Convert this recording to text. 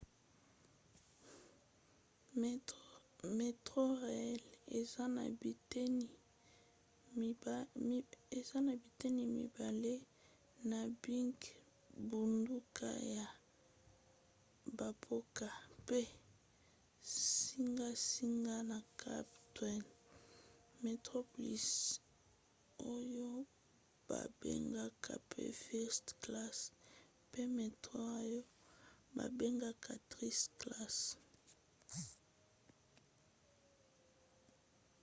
metrorail eza na biteni mibale na bingbunduka ya bamboka pe zingazinga ya cap town: metroplus oyo babengaka pe first class pe metro oyo babengaka third class